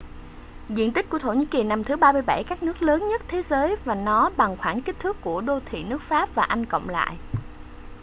diện tích của thổ nhĩ kỳ nằm thứ 37 các nước lớn nhất thế giới và nó bằng khoảng kích thước của đô thị nước pháp và anh cộng lại